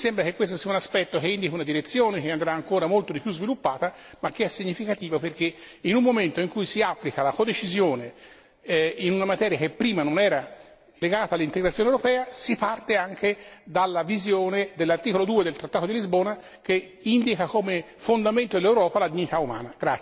Mi sembra che questo sia un aspetto che indichi una direzione che andrà ancora molto di più sviluppata, ma che è significativo perché in un momento in cui si applica la codecisione e in una materia che prima non era legata all'integrazione europea, si parte anche dalla visione dell'articolo 2 del trattato di Lisbona, che indica come fondamento dell'Europa la dignità umana.